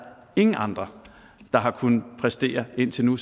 ingen andre der har kunnet præstere indtil nu